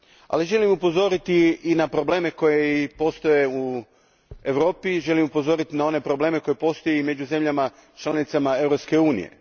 Ali želim upozoriti i na probleme koji postoje u Europi, želim upozoriti na one probleme koji postoje među državama članicama Europske unije.